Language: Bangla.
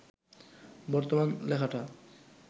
বর্তমান লেখাটা